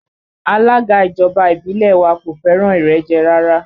Alága ìjọba ìbílẹ̀ wa kò fẹ́ràn ìrẹ́jẹ rárá